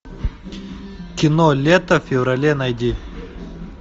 кино лето в феврале найди